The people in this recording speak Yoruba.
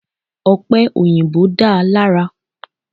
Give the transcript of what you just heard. Ọ̀pẹ̀ òyìbó dáa lára.